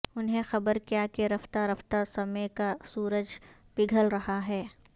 انہیں خبر کیا کہ رفتہ رفتہ سمے کا سورج پگھل رہا ہے